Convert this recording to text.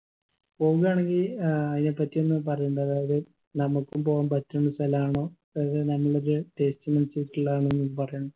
പോവുആണെങ്കി ഏർ അയിനെ പറ്റി ഒന്ന് പറയുണ്ട് അതായത് നമ്മുക്കും പോവാൻ പറ്റുന്ന സ്ഥലാണോ അതായത് നല്ലത്